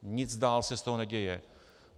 Nic dál se z toho neděje.